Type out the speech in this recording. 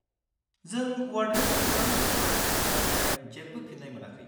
जों वार्डेननो खोरां होखांबाय नाथाय जेबो फिन्नाय मोनाखै।